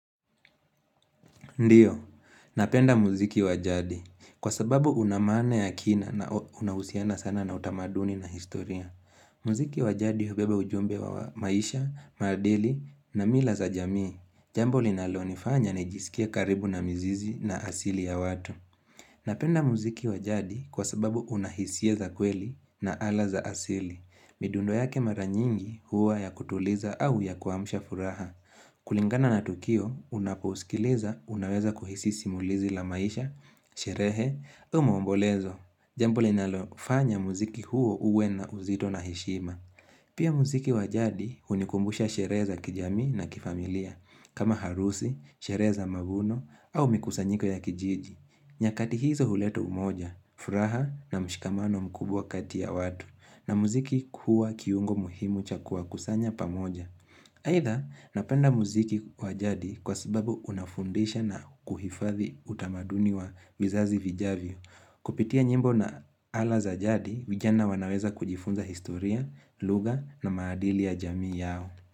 Ndiyo, napenda muziki wajadi kwa sababu una maana ya kina na unahusiana sana na utamaduni na historia. Muziki wajadi hubeba ujumbe wa maisha, maadili na mila za jamii. Jambo linalo nifanya najisikie karibu na mizizi na asili ya watu. Napenda muziki wajadi kwa sababu unahisia za kweli na ala za asili. Midundo yake maranyingi huwa ya kutuliza au ya kuamsha furaha. Kulingana na Tukio, unapousikiliza, unaweza kuhisi simulizi la maisha, sherehe, au maombolezo Jambo li nalofanya muziki huu uwe na uzito na heshima Pia muziki wajadi unikumbusha sherehe za kijamii na kifamilia kama harusi, sherehe za mavuno, au mikusanyiko ya kijiji nyakati hizo huleta umoja, furaha na mshikamano mkubwa kati ya watu na muziki kuwa kiungo muhimu cha kuwa kuwakusanya pamoja Haidha, napenda muziki wajadi kwa sababu unafundisha na kuhifadhi utamaduni wa vizazi vijavyo. Kupitia nyimbo na ala za jadi, vijana wanaweza kujifunza historia, lugha na maadili ya jamii yao.